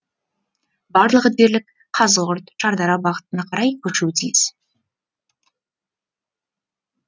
барлығы дерлік қазығұрт шардара бағытына қарай көшуі тиіс